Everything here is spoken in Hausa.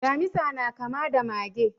Damisa na kama da mage.